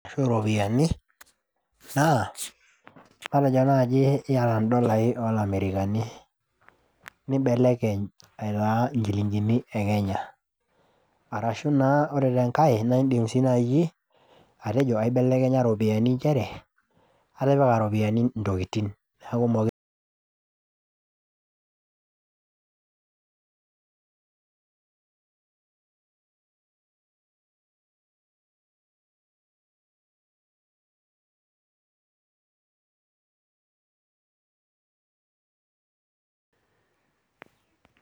Ashu iropiyiani naa matejo nai iyata indolai olamerikani nimbelekeny aitaa inchilingini ekenya arashu naa ore tenkae naa indim sii naji atejo aibelekenya iropiyiani inchere atipika iropiyiani intokitin niaku mokire